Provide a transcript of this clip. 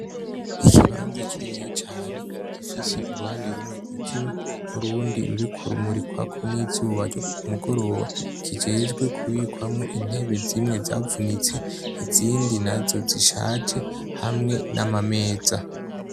Ikibanza kininiya cane gifise uruhande rumwe rwijimye urundi ruriko rumurikwako nizuba ryokumugoroba kijejwe kubikwamwo intebe zimwe zavunitse izindi nazo zishaje hamwe namameza